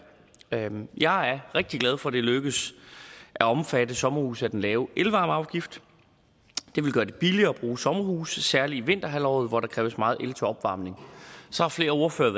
jeg er rigtig glad for at det er lykkedes at omfatte sommerhuse af den lavere elvarmeafgift det vil gøre det billigere at bruge sommerhuse særlig i vinterhalvåret hvor der kræves meget el til opvarmning så har flere ordførere